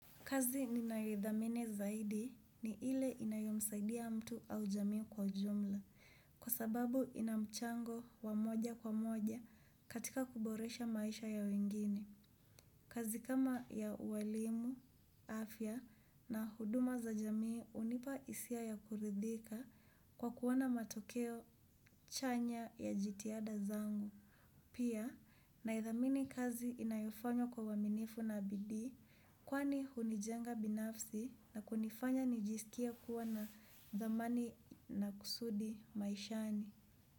Kazi ninayoidhamini zaidi ni ile inayomsaidia mtu au jamii kwa ujumla. Kwa sababu inamchango wa moja kwa moja katika kuboresha maisha ya wengine. Kazi kama ya uwalimu, afya na huduma za jamii unipa isia ya kuridhika kwa kuona matokeo chanya ya jitiada zangu. Pia na idhamini kazi inayofanywa kwa uaminifu na bidii kwani hunijenga binafsi na kunifanya nijisikie kuwa na dhamani na kusudi maishani.